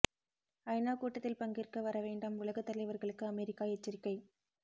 ஐநா கூட்டத்தில் பங்கேற்க வர வேண்டாம் உலக தலைவர்களுக்கு அமெரிக்கா எச்சரிக்கை